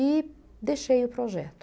E deixei o projeto.